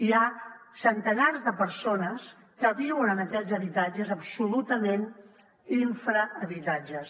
hi ha centenars de persones que viuen en aquests habitatges absolutament infrahabitatges